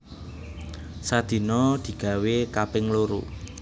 Sadina digawé kaping loro